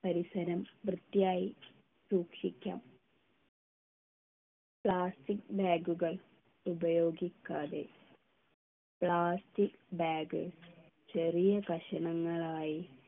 പരിസരം വൃത്തിയായി സൂക്ഷിക്കാം plastic bag കൾ ഉപയോഗിക്കാതെ plastic bag ചെറിയ കഷണങ്ങളായി